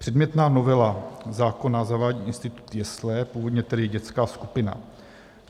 Předmětná novela zákona zavádí institut jesle, původně tedy dětská skupina.